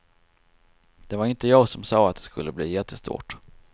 Det var inte jag som sa att det skulle bli jättestort.